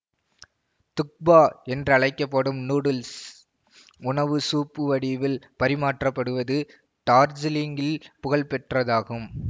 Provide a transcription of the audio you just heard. துக்பா என்றழைக்க படும் நூடுல்ஸ் உணவு சூப் வடிவில் பரிமாறப்படுவது டார்ஜீலிங்கில் புகழ்பெற்றதாகும்